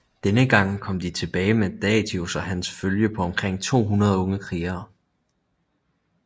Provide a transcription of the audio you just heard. Denne gang kom de tilbage med Datius og hans følge på omkring 200 unge krigere